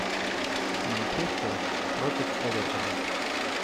манчестер против эвертона